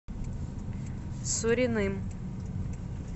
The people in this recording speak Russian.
суриным